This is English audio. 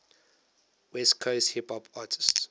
west coast hip hop artists